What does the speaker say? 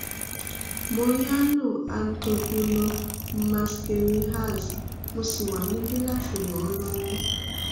mariano anto bruno mascarenhas mo sì wà níbí láti ràn ọ́ lọ́wọ́